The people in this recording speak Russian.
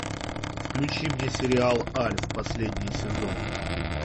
включи мне сериал альф последний сезон